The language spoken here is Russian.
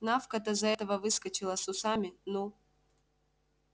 навка-то за этого выскочила с усами ну